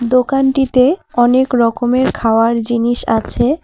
দোকানটিতে অনেক রকমের খাওয়ার জিনিস আছে।